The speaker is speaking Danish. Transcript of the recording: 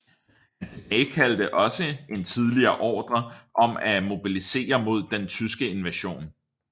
Han tilbagekaldte også en tidligere ordre om at mobilisere mod den tyske invasion